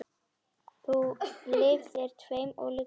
Þú lifðir tveimur ólíkum lífum.